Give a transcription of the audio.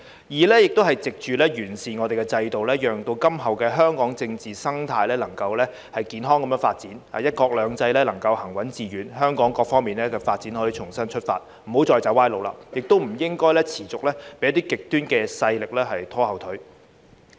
二是藉完善制度，讓今後香港的政治生態能夠健康發展，"一國兩制"能夠行穩致遠，香港各方面發展可以重新出發，不要再走歪路，亦不應該持續被一些極端勢力拖後腿。